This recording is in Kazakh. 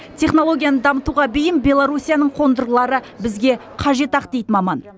технологияны дамытуға бейім беларусияның қондырғылары бізге қажет ақ дейді маман